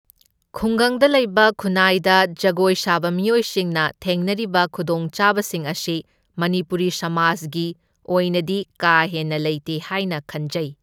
ꯈꯨꯡꯒꯪꯗ ꯂꯩꯕ ꯈꯨꯟꯅꯥꯏꯗ ꯖꯒꯣꯏ ꯁꯥꯕ ꯃꯤꯑꯣꯏꯁꯤꯡꯅ ꯊꯦꯡꯅꯔꯤꯕ ꯈꯨꯗꯣꯡꯆꯥꯕꯁꯤꯡ ꯑꯁꯤ ꯃꯅꯤꯄꯨꯔꯤ ꯁꯃꯥꯖꯒꯤ ꯑꯣꯏꯅꯗꯤ ꯀꯥ ꯍꯦꯟꯅ ꯂꯩꯇꯦ ꯍꯥꯏꯅ ꯈꯟꯖꯩ꯫